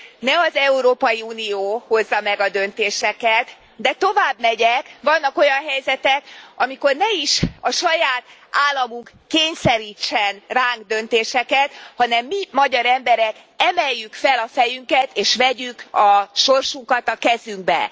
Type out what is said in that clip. ne az Európai Unió hozza meg a döntéseket de továbbmegyek vannak olyan helyzetek, amikor ne is a saját államunk kényszerítsen ránk döntéseket, hanem mi, magyar emberek emeljük fel a fejünket, és vegyük a sorsunkat a kezünkbe.